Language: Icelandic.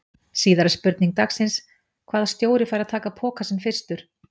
Síðari spurning dagsins: Hvaða stjóri fær að taka pokann sinn fyrstur?